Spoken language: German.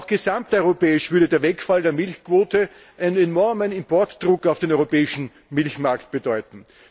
Aber auch gesamteuropäisch würde der Wegfall der Milchquote einen enormen Importdruck auf den europäischen Milchmarkt bedeuten.